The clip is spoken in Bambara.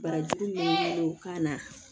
Barajuru don kan na